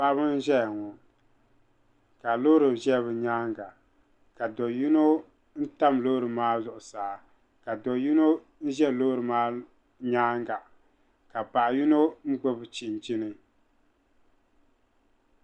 Paɣiba n-ʒeya ŋɔ ka loori ʒe bɛ nyaaŋa ka do yino n-tam loori maa zuɣusaa ka do yino ʒe loori maa nyaaŋa ka paɣa yino gbubi chinchini .